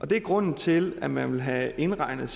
det er grunden til at man vil have indregnet